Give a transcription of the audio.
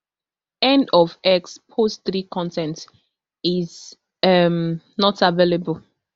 end of x post three con ten t is um not available